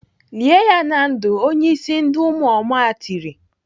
"Lie ya na ndụ!" Onye ịsị ndị ụmụoma tiri.